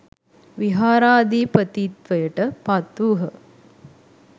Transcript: විහාරාධිපතිත්වයට පත් වූහ